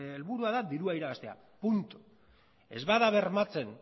helburua da dirua irabaztea puntu ez bada bermatzen